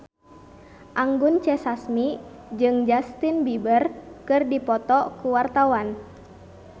Anggun C. Sasmi jeung Justin Beiber keur dipoto ku wartawan